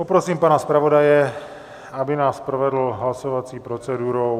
Poprosím pana zpravodaje, aby nás provedl hlasovací procedurou.